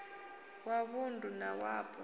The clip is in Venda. wa vund u na wapo